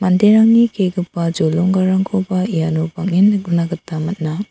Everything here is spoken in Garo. manderangni kegipa jolonggarangkoba iano bang·en nikna man·a.